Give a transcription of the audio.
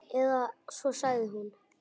Eða svo sagði hún.